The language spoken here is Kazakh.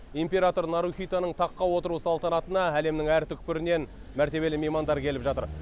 император нарухитоның таққа отыру салтанатына әлемнің әр түкпірінен мәртебелі меймандар келіп жатыр